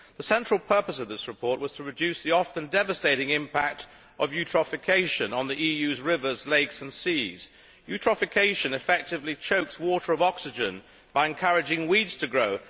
The central purpose of this report was to reduce the often devastating impact of eutrophication on the EU's rivers, lakes and seas. Eutrophication effectively chokes water of oxygen by encouraging weeds to grow.